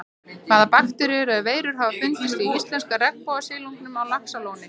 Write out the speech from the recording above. Hvaða bakteríur eða veirur hafa fundist í íslenska regnbogasilungnum á Laxalóni?